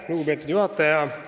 Lugupeetud juhataja!